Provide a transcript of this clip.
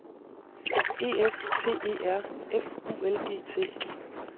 E F T E R F U L G T